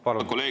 Palun!